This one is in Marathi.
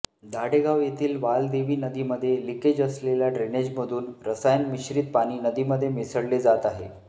दाढेगांव येथील वालदेवी नदीमध्ये लिकेज असलेल्या ड्रेनेज मधुन रसायन मिश्रीत पाणी नदीमध्ये मिसळले जात आहे